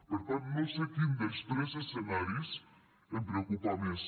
per tant no sé quin dels tres escenaris em preocupa més